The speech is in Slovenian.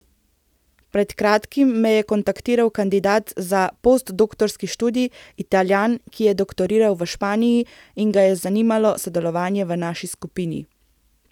Pred kratkim me je kontaktiral kandidat za postdoktorski študij, Italijan, ki je doktoriral v Španiji in ga je zanimalo sodelovanje v naši skupini.